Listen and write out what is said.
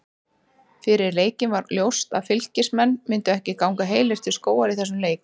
Fyrir leikinn var ljóst að Fylkismenn myndu ekki ganga heilir til skógar í þessum leik.